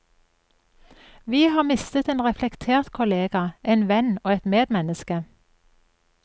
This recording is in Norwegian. Vi har mistet en reflektert kollega, en venn og et medmenneske.